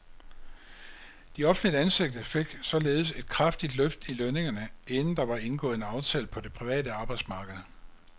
De offentligt ansatte fik således et kraftigt løft i lønningerne, inden der var indgået en aftale på det private arbejdsmarked.